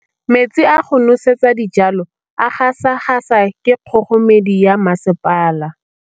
Metsi a go nosetsa dijalo a gasa gasa ke kgogomedi ya masepala.